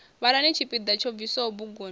vhalani tshipiḓa tsho bviswaho buguni